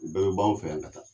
U bɛɛ bɛ b'an fɛ yan ka taa.